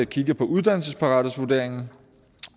kigge på uddannelsesparathedsvurderingen